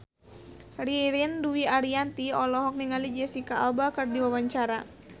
Ririn Dwi Ariyanti olohok ningali Jesicca Alba keur diwawancara